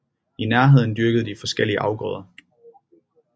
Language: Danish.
I nærheden dyrkede de forskellige afgrøder